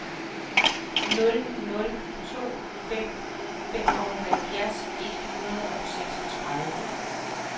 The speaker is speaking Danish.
nul nul to fem femoghalvfjerds et hundrede og seksogtredive